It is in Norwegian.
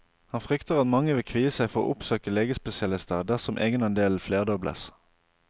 Han frykter at mange vil kvie seg for å oppsøke legespesialister dersom egenandelen flerdobles.